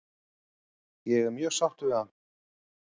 Ég er mjög sáttur við hann?